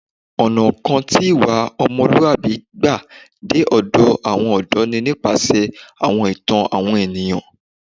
Ọ̀nà kan tí ìwà ọmọlúwàbí gbà dé ọ̀dọ̀ àwọn ọ̀dọ́ ni nípasẹ̀ àwọn ìtàn àwọn ènìyàn